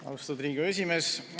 Austatud Riigikogu esimees!